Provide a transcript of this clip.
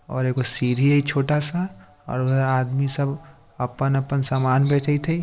और एगो सीढ़ी हेय छोटा-सा और उधर आदमी सब उ अपन-अपन सामान बेचेएत हेय।